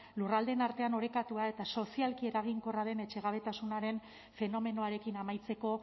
lurraldeen artean orekatua eta sozialki eraginkorra den etxegabetasunaren fenomenoarekin amaitzeko